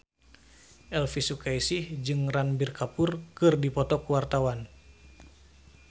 Elvy Sukaesih jeung Ranbir Kapoor keur dipoto ku wartawan